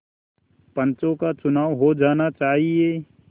पंचों का चुनाव हो जाना चाहिए